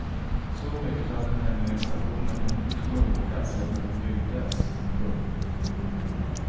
Så mycket hade nämligen stationen hunnit sjunka sedan den byggdes. punkt